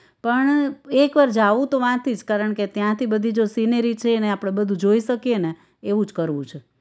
પણ એકવાર જાવું તો વાથી જ કારણ કે ત્યાંથી બધી જો scenery છે ને આપણે બધું જોઈ શકીએને એવું જ કરવું છે